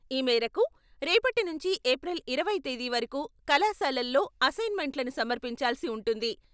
ఈ మేరకు, రేపటి నుంచి ఎప్రిల్ ఇరవై తేదీ వరకు కళాశాలల్లో అసైన్మెంట్లను సమర్పించాలసి ఉంటుంది.